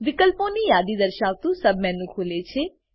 વિકલ્પોની યાદી દર્શાવતુ સબમેનુ ખુલે છે